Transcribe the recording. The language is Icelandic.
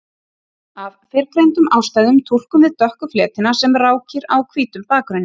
Af fyrrgreindum ástæðum túlkum við dökku fletina sem rákir á hvítum bakgrunni.